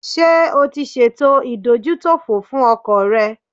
Ṣé o ṣe ètò ìdójútòfò fún ọkọ̀ rẹ?